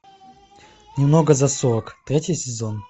немного за сорок третий сезон